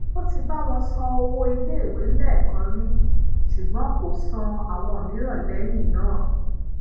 ó ti bá wọn san owó iléèwé lẹẹkan ri ṣùgbọn kò san awon miiran leyin naa